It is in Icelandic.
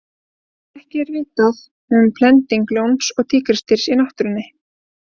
Ekki er vitað um blending ljóns og tígrisdýrs í náttúrunni.